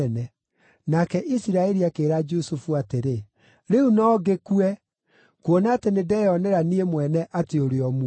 Nake Isiraeli akĩĩra Jusufu atĩrĩ, “Rĩu no ngĩkue, kuona atĩ nĩndeyonera niĩ mwene atĩ ũrĩ o muoyo.”